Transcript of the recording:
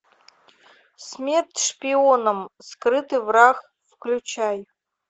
смерть шпионам скрытый враг включай